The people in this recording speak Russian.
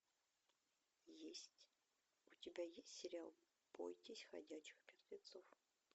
есть у тебя есть сериал бойтесь ходячих мертвецов